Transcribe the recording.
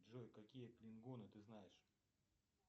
джой какие клингоны ты знаешь